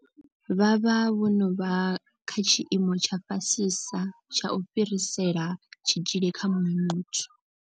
Vha vha vho no vha kha tshiimo tsha fhasisa tsha u fhirisela tshitzhili kha muṅwe muthu.